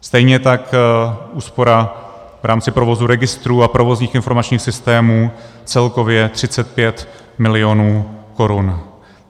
Stejně tak úspora v rámci provozu registrů a provozních informačních systémů celkově 35 mil. korun.